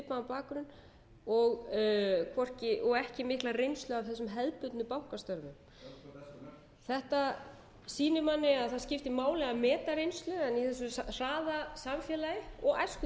bakgrunn og ekki mikla reynslu af þessum hefðbundnu bankastörfum þetta sýnir manni að það skiptir máli að meta reynslu en í þessu hraða